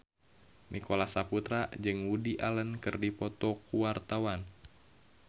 Nicholas Saputra jeung Woody Allen keur dipoto ku wartawan